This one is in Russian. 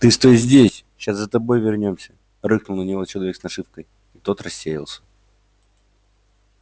ты стой здесь ща за тобой вернёмся рыкнул на него человек с нашивкой и тот рассеялся